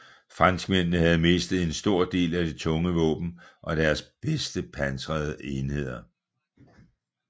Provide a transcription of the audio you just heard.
Franskmændene havde mistet en stor del af deres tunge våben og deres bedste pansrede enheder